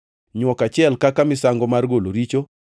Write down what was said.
nywok achiel kaka misango mar golo richo;